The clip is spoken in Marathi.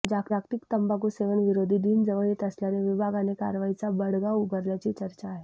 जागतिक तंबाखू सेवन विरोधी दिन जवळ येत असल्याने विभागाने कारवाईचा बडगा उगारल्याची चर्चा आहे